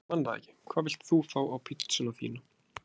Ég man það ekki Hvað vilt þú fá á pizzuna þína?